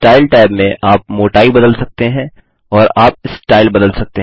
style tab में आप मोटाई बदल सकते हैं और आप स्टाइल बदल सकते हैं